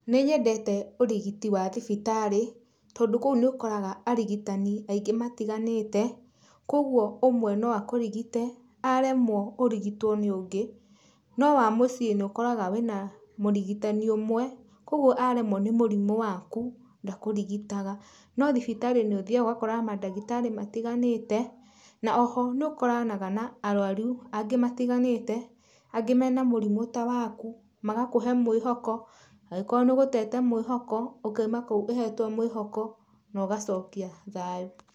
Nĩ nyendete ũrigiti wa thibitarĩ, tondũ kũu nĩ ũkoraga arigitani aingĩ matiganĩte, kogwo ũmwe no akũrigite, aremwo ũrigitwo nĩ ũngĩ. No wa mũciĩ nĩ ũkoraga wĩna mũrigitani ũmwe, kogwo aremwo nĩ mũrimũ waku, ndakũrigitaga. No thibitarĩ nĩ ũthiaga ũgakora mandagĩtarĩ matiganĩte, na oho nĩ ũkoranaga na arũaru angĩ matiganĩte, angĩ mena mũrimũ ta waku, magakũhe mwĩhoko angĩkorwo nĩ ũgũtete mwĩhoko, ũkaima kũu ũhetwo mwĩhoko na ũgacokia thayũ.